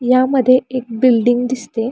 पण दरवाजाही उघडा दिसतोय.